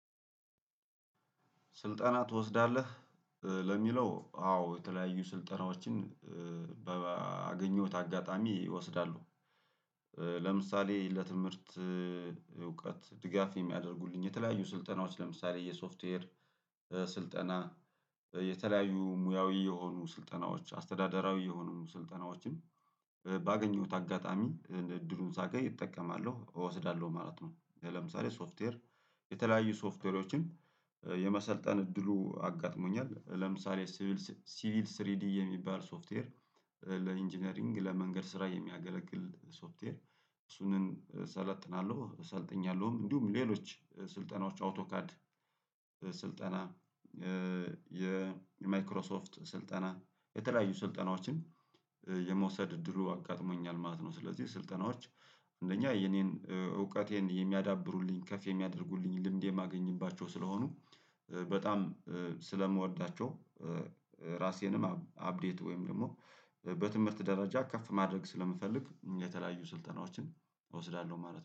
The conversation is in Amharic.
ስልጠና ትወስዳለህ ለሚለው አዎ የተለያዩ ስልጠናዎችን በአገኘሁት አጋጣሚ እወስዳለው። ለምሳሌ ለትምህርት እውቀት ድጋፍ የሚያደርጉልኝ የተለያዩ ስልጠናዎች ለምሳሌ የሶፍትዌር ስልጠና የተለያዩ ሙያዊ የሆኑ ስልጠናዎች አስተዳደራዊ የሆኑ ስልጠናዎችን ባገኘሁት አጋጣሚ እድሉን ሳገኝ እጠቀማለሁ እወስዳለሁ ማለት ነው ለምሳሌ ሶፍትዌር የተለያዩ ሶፍትዌሮችን የመሰልጠን እድሉ አጋጥሞኛል ለምሳሌ ሲቪል ሲቪል ስሪዲ የሚባል ሶፍትዌር ለኢንጂነሪንግ ለመንገድ ስራ የሚያገለግል ሶፍትዌር እሱን እሰለጥናለሁ ሰልጥኛለሁም እንዲሁም ሌሎች ስልጠናዎች አውቶካድ ስልጠና የማይክሮሶፍት ስልጠና የተለያዩ ስልጠናዎችን የመውሰድ እድሉ አጋጥሞኛል ማለት ነው። ስለዚህ ስልጠናዎች አንደኛ የኔን እውቀቴን የሚያዳብሩልኝ ከፍ የሚያደርጉልኝ ልምዴ የማገኝባቸው ስለሆኑ በጣም ስለምወዳቸው ራሴንም አፕዴት ወይም ደግሞ በትምህርት ደረጃ ከፍ ማድረግ ስለምፈልግ የተለያዩ ስልጠናዎችን እወስዳለሁ ማለት ነው